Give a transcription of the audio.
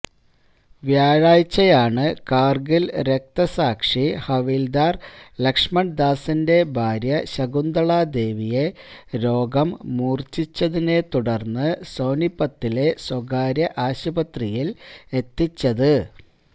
വ്യാഴാഴ്ചയാണ് കാര്ഗില് രക്തസാക്ഷി ഹവില്ദാര് ലക്ഷ്മണ്ദാസിന്റെ ഭാര്യ ശകുന്തളാദേവിയെ രോഗം മൂര്ച്ചിച്ചതിനെ തുടര്ന്ന് സോനിപത്തിലെ സ്വകാര്യ ആശുപത്രിയില് എത്തിച്ചത്